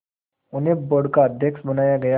उन्हें बोर्ड का अध्यक्ष बनाया गया